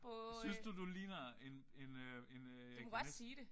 Synes du du ligner en en øh en øh jeg kan næsten ikke